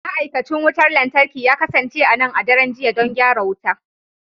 Ma'aikacin wutar lantarki ya kasance a nan a daren jiya don gyara wuta.